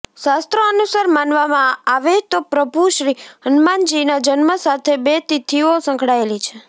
શાસ્ત્રો અનુસાર માનવામા આવે તો પ્રભુ શ્રી હનુમાનજી ના જન્મ સાથે બે તિથિઓ સંકળાયેલી છે